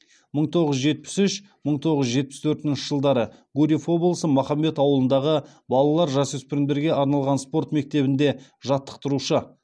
мың тоғыз жүз жетпіс үш мың тоғыз жүз жетпіс төртінші жылдары гурьев облысы махамбет ауылындағы балалар жасөспірімдерге арналған спорт мектебінде жаттықтырушы